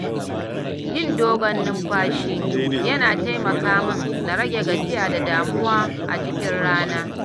Yin dogon numfashi yana taimaka min na rage gajiya da damuwa a cikin rana.